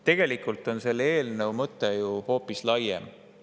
Tegelikult on selle eelnõu mõte hoopis laiem.